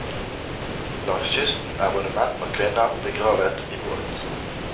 Langs kysten er både menn og kvinner begravet i båt.